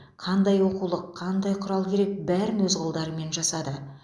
қандай оқулық қандай құрал керек бәрін өз қолдарымен жасады